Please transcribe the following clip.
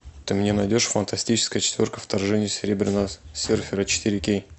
ты мне найдешь фантастическая четверка вторжение серебряного серфера четыре кей